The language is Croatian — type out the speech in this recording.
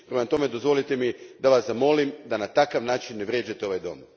Prema tome dozvolite mi da Vas zamolim da na takav način ne vrijeđate ovaj dom.